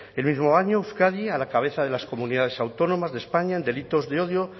el mismo año euskadi a la cabeza de las comunidades autónomas de españa en delitos de odio